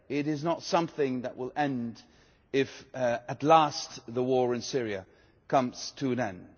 It is not something that will end if, at last, the war in Syria comes to an end.